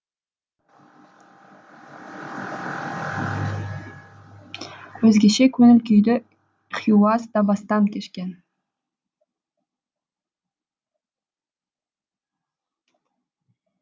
өзгеше көңіл күйді хиуаз да бастан кешкен